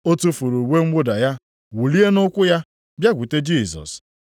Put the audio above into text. Ọ tufuru uwe mwụda ya, wulie nʼụkwụ ya, bịakwute Jisọs.